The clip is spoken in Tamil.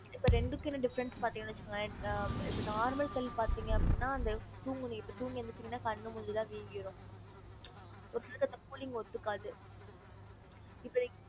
இப்ப ரெண்டுக்கும் என்ன difference னு பாத்திங்கன்னு வச்சிக்கோங்களேன் இப்ப normal கல்லு பாத்திங்க அப்டின்னா அந்த தூங்கி நீ தூங்கி எந்துச்சிங்கனா கண்ணு மூஞ்சி எல்லாம் வீங்கிரும் ஒரு சிலருக்கு அந்த cooling ஒத்துக்காது இப்ப நீங்க